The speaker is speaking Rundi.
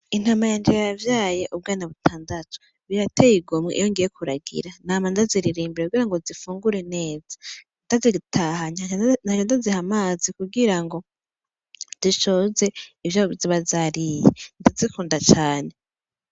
Intama yanje yavyaye ubwana butandatu birateye igomwe iyo ngiye kuragira nama ndaziririmbira kugira ngo zifungure neza, ndazitahanye nkaca ndaziha amazi kugira ngo zishoze ivyo zizoba zariye, ndazikunda cane.